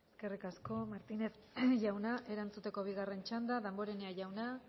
eskerrik asko eskerrik asko martínez jauna erantzuteko bigarren txanda damborenea jauna